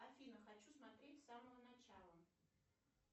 афина хочу смотреть с самого начала